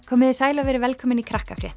komiði sæl og verið velkomin í